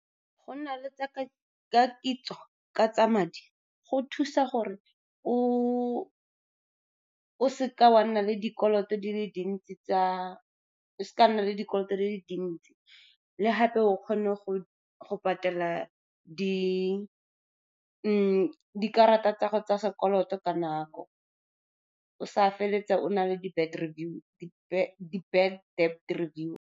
Go nna le kitso ka tsa madi go thusa gore o seka wa nna le dikoloto di le dintsi, le gape o kgone go patela dikarata tsa sekoloto ka nako, o sa feleletsa o na le bad debt review.